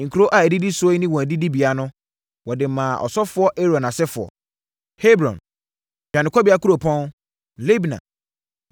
Nkuro a ɛdidi soɔ yi ne wɔn adidibea no, wɔde maa ɔsɔfoɔ Aaron asefoɔ: Hebron, (dwanekɔbea Kuropɔn), Libna,